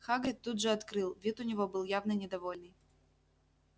хагрид тут же открыл вид у него был явно недовольный